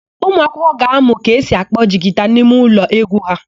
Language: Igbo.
Ụmụakwụkwọ ga-amụ ka esi akpọ jigita n'imeụlọ égwú ha.